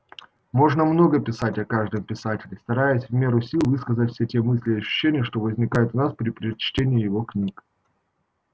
можно много писать о каждом писателе стараясь в меру сил высказать все те мысли и ощущения что возникают у нас при чтении его книг